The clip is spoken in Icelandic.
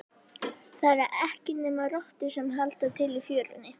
Það eru ekki nema rottur sem halda til í fjörunni.